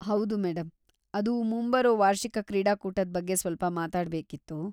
ಹೌದು ಮೇಡಂ, ಅದು ಮುಂಬರೋ ವಾರ್ಷಿಕ ಕ್ರೀಡಾಕೂಟದ್ ಬಗ್ಗೆ ಸ್ವಲ್ಪ ಮಾತಾಡ್ಬೇಕಿತ್ತು.